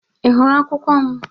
Ị hụrụ akwụkwo m?